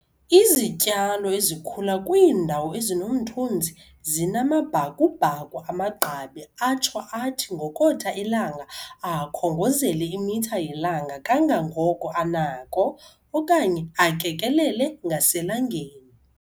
Izityalo ezikhula kwiindawo ezinomthunzi zinamabhakubhaku amagqabi atsho athi ngokotha ilanga akhongozele imitha yelanga kangoko anako, okanye akekelele ngaselangeni.